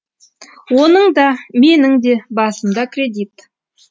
оның да менің де басымда кредит